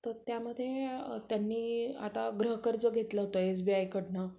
तर त्यामध्ये त्यांनी आता गृह कर्ज घेतलं होतं एसबीआय कडन